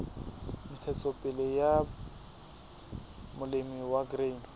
ntshetsopele ya molemi wa grain